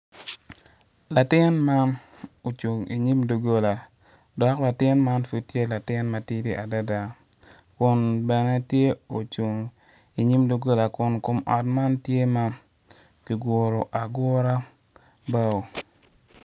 Latin man ocung inyim dugola dok latin man pud tye latin matidi adada kun bene tye ocung inyim doggola kun kom ot man tye ma ki guru agura bao